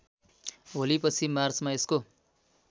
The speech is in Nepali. होलीपछि मार्चमा यसको